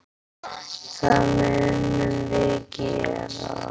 Það munum við gera.